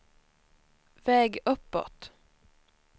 väg uppåt